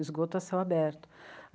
Esgoto a céu aberto.